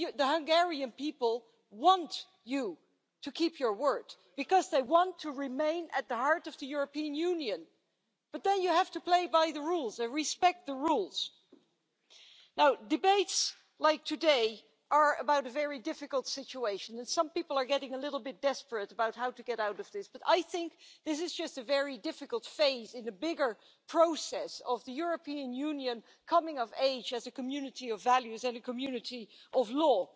The Hungarian people want you to keep your word, because they want to remain at the heart of the European Union. But then you have to play by the rules and respect the rules. Debates like this one today are about a very difficult situation, and some people are getting rather desperate about how to get out of that situation, but I think this is just a difficult phase in a bigger process of the European Union coming of age as a community of values and a community of law.